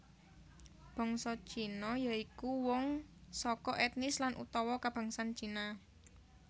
Bangsa Cina ya iku wong saka ètnis lan utawa kabangsan Cina